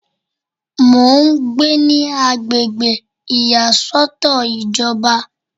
Mo ń gbé ní agbègbè ìyàsọ́tọ̀ ìjọba